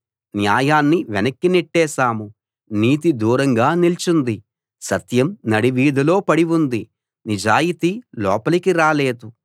న్యాయాన్ని వెనక్కి నెట్టేశాము నీతి దూరంగా నిల్చుంది సత్యం నడివీధిలో పడి ఉంది నిజాయితీ లోపలికి రాలేదు